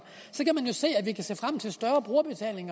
så kan man jo se at vi kan se frem til større brugerbetaling